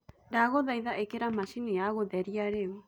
ndagũthaĩtha ĩkĩra machĩnĩ ya gutherĩa riu